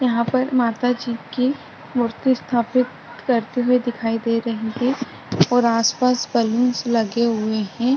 यहाँ पर माता जी मूर्ति स्थापित करते हुए दिखाई दे रहे है और आस पास बलून्स लगे हुए है।